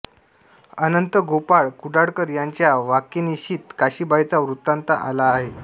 अनंत गोपाळ कुडाळकर यांच्या वाकेनिशीत काशीबाईचा वृत्तान्त आला आहे